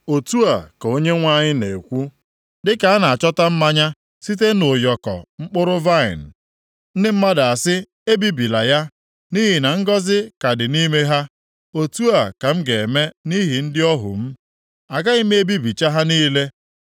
Otu a ka Onyenwe anyị na-ekwu, “Dịka a na-achọta mmanya site nʼụyọkọ mkpụrụ vaịnị ndị mmadụ asị, ‘Ebibila ya, nʼihi na ngọzị ka dị nʼime ha,’ otu a ka m ga-eme nʼihi ndị ohu m; Agaghị m ebibicha ha niile.